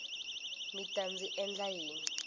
mi ta ndzi endla yini